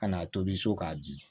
Ka n'a tobi so k'a dun